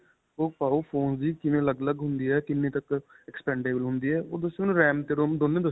ਓਹ ਪਾਓ phone ਦੀ ਕਿਵੇਂ ਅਲੱਗ-ਅਲੱਗ ਹੁੰਦੀ ਹੈ. ਕਿੰਨੇ ਤੱਕ expandable ਹੁੰਦੀ ਹੈ. ਓਹ ਤੁਸੀਂ ਮੈਨੂੰ RAM ਤੇ ROM ਦੋਨੇ ਦੱਸਿਓ.